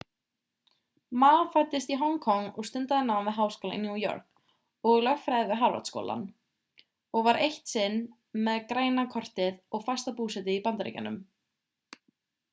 ma fæddist í hong kong og stundaði nám við háskólann í new york og lögfræði við harvard-háskóla og var eitt sinn með græna kortið og fasta búsetu í bandaríkjunum